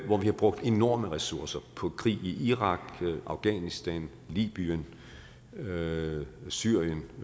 hvor vi har brugt enorme ressourcer på krig i irak afghanistan libyen syrien syrien